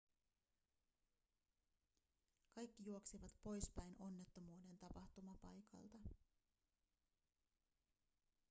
kaikki juoksivat poispäin onnettomuuden tapahtumapaikalta